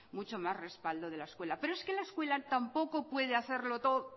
mucho más respaldo de la escuela pero es que la escuela tampoco puede hacerlo todo